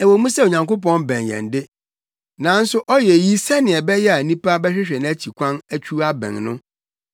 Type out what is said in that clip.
Ɛwɔ mu sɛ Onyankopɔn bɛn yɛn de, nanso ɔyɛ eyi sɛnea ɛbɛyɛ a nnipa bɛhwehwɛ nʼakyi kwan atwiw abɛn no;